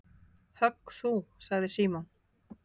Högg þú sagði Símon.